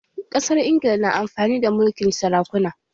Ƙasar Ingila na amfani da mulkin sarakuna